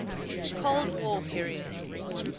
cold war period